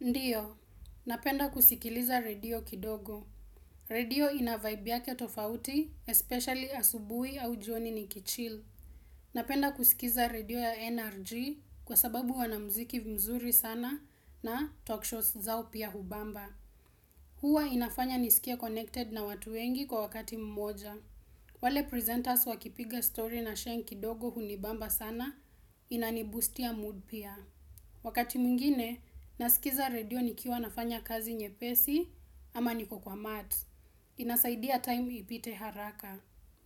Ndiyo, napenda kusikiliza radio kidogo. Radio inavibe yake tofauti, especially asubuhi au jioni nikichil. Napenda kusikiza redio ya NRG kwa sababu wana muziki mzuri sana na talk shows zao pia hubamba. Hunifanya nisikie connected na watu wengi kwa wakati mmoja. Wale presenters wakipiga stori na Sheng kidogo hunibamba sana, inani-boostia mood pia. Wakati mwingine, nasikiza redio nikiwa nafanya kazi nyepesi ama nikiwa kwa mat. Inasaidia time ipite haraka.